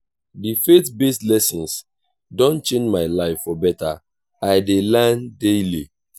the faith-based lessons don change my life for better i dey learn daily.